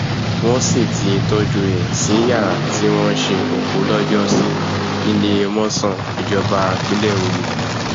wọn sì ti tọjú ẹ sí yàrá tí wọn ń ṣe òkú lọjọ sí níléemọsán ìjọba pínlẹ òye